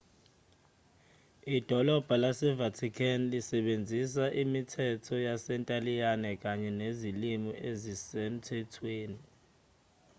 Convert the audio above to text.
idolabha lase-vatican lisebenzisa imithetho yasentaliyane kanye nezilimi ezisemthethweni